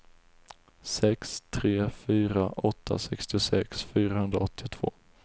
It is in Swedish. sex tre fyra åtta sextiosex fyrahundraåttiotvå